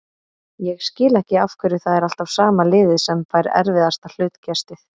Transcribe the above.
Ég skil ekki af hverju það er alltaf sama liðið sem fær erfiðasta hlutkestið.